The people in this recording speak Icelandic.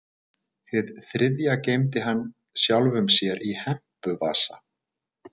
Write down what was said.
Hið þriðja geymdi hann sjálfum sér í hempuvasa.